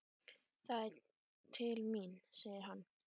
Það er til mín, segir hann.